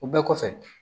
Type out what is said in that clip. O bɛɛ kɔfɛ